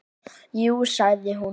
Jú sagði hún.